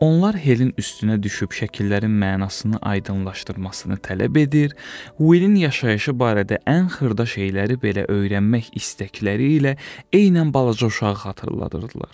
Onlar Helin üstünə düşüb şəkillərin mənasını aydınlaşdırmasını tələb edir, Wilin yaşayışı barədə ən xırda şeyləri belə öyrənmək istəkləri ilə eynən balaca uşağı xatırladırdılar.